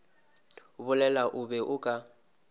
bolela o be o ka